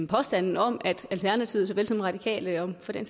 påstanden om at alternativet såvel som radikale og for den